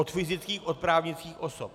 Od fyzických, od právnických osob.